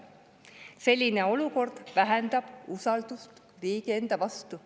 Selline olukord vähendab usaldust riigi enda vastu.